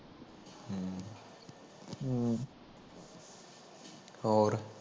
ਹੋਰ